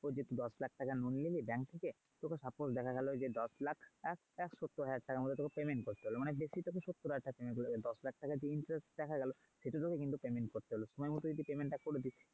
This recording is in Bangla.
দশ লাখ টাকার loan নিলি bank থেকে তোকে suppose দেখা গেলো দশ লাখ সত্তর হাজার টাকার মতো payment করতে হল। মানে বেশি তোকে সত্তর হাজার টাকা payment করতে হলো দশ লাখ টাকার যে interest দেখা গেলো সেটা কিন্তু তোকে payment করতে হলো। সময় মতো যদি payment টা করে দিস ।